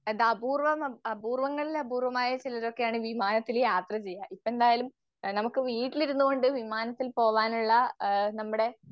അതപൂർവം അപൂർവങ്ങളിലപൂർവമായ ചിലരൊക്കെയാണ് വിമാനത്തിൽ യാത്ര ചെയ്യുക. ഇപ്പെന്തായാലും നമുക്ക് വീട്ടിരുന്നോണ്ട് വിമാനത്തിൽ പോവാനുള്ള ആഹ് നമ്മുടെ